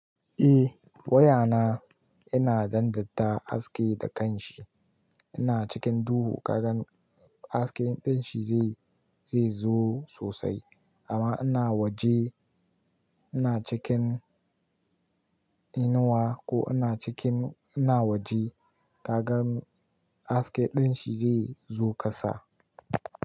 Eh wayana ina dandata haske da kanshi, ina cikin duhu kagan haske dinshi zai zo sosai amma ina waje ina cikin inuwa ko ina cikin ina waje kagan haske dinshi zai zo kasa.